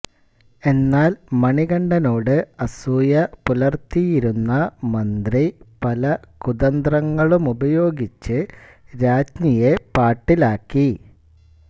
എന്നാൽ മണികണ്ഠനോട് അസൂയ പുലർത്തിയിരുന്ന മന്ത്രി പല കുതന്ത്രങ്ങളുമുപയോഗിച്ച് രാജ്ഞിയെ പാട്ടിലാക്കി